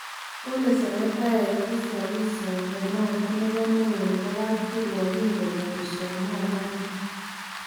Kole senetaek tesigis somet noton nebo neo nebo kamkriwok kigonyor somonoton.